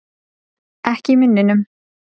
Ekki í munninum.